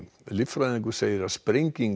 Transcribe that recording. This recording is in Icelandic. líffræðingur segir að sprenging